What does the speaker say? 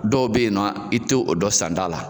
Dɔw be yen nɔ, i te o dɔn san da la.